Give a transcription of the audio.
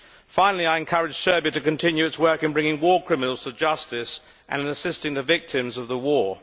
Finally I would encourage Serbia to continue its work in bringing war criminals to justice and assisting the victims of the war.